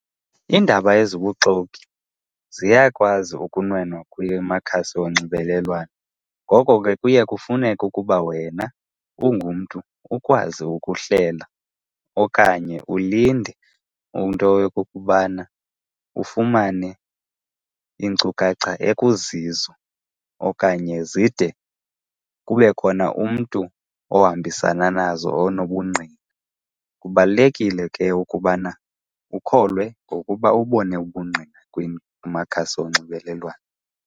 Iindaba ezibuxoki ziyakwazi ukunwenwa kwimakhasi onxibelelwano. Ngoko ke kuye kufuneke ukuba wena ungumntu ukwazi ukuhlela okanye ulinde into yokokubana ufumane iinkcukacha ekuzizo okanye zide kube khona umntu ohambisana nazo onobungqina. Kubalulekile ke ukubana ukholwe ngokuba ubone ubungqina kumakhasi onxibelelwano.